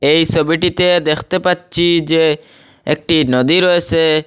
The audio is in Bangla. এই সোবিটিতে দেখতে পাচ্চি যে একটি নদী রয়েসে।